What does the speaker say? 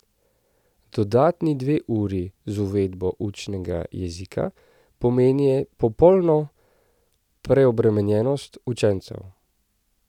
Dodatni dve uri z uvedbo učnega jezika pomenijo popolno preobremenjenost učencev.